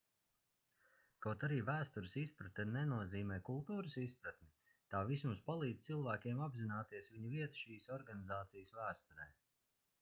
kaut arī vēstures izpratne nenozīmē kultūras izpratni tā vismaz palīdz cilvēkiem apzināties viņu vietu šīs organizācijas vēsturē